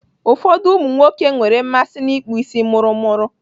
Ụfọdụ ụmụnwoke nwere mmasị n'ịkpụ isi mụrụmụrụ.